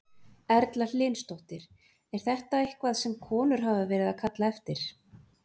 Erla Hlynsdóttir: Er þetta eitthvað sem að konur hafa verið að kalla eftir?